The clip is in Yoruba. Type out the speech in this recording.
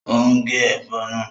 Ó ń gé ẹ̀fọ́ náà